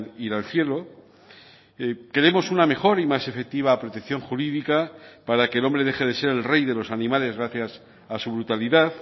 ir al cielo queremos una mejor y más efectiva protección jurídica para que el hombre deje de ser el rey de los animales gracias a su brutalidad